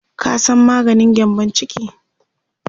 ka San maganin gyambun ciki?